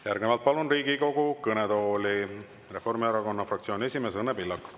Järgnevalt palun Riigikogu kõnetooli Reformierakonna fraktsiooni esimehe Õnne Pillaku.